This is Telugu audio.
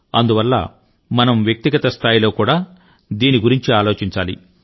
అందువల్ల మనం వ్యక్తిగత స్థాయిలో కూడా దీని గురించి ఆలోచించాలి